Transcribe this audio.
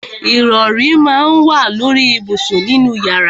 Ìrọrí má ń wà lóri ìbùsùn nínú yàrá.